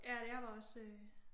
Ja jeg var også